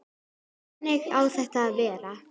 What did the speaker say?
Þannig á þetta að vera.